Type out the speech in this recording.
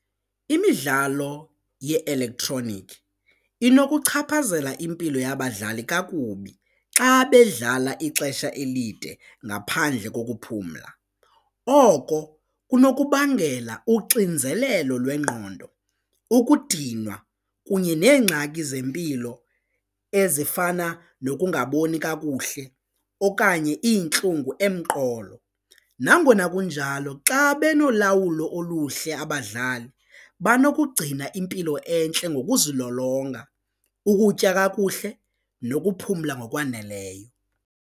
Imidlalo ye-elektroniki inokuchaphazela impilo yabadlali kakubi xa bedlala ixesha elide ngaphandle kokuphumla, oko kunokubangela uxinzelelo lwengqondo, ukudinwa kunye neengxaki zempilo ezifana nokungaboni kakuhle okanye iintlungu emqolo. Nangona kunjalo xa benolawulo oluhle abadlali banokugcina impilo entle ngokuzilolonga, ukutya kakuhle nokuphumla ngokwaneleyo.